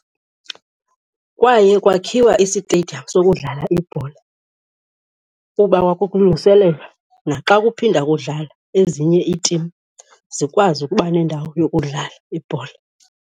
Kwaye kwakhiwa isitediyamu sokudlala ibhola kuba kwakulungiselelwa naxa kuphinda kudlala ezinye iitimu zikwazi ukuba nendawo yokudlala ibhola.